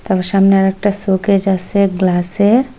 আবার সামনে আর একটা শোকেস আসে গ্লাসের ।